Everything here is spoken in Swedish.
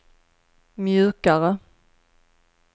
mjukare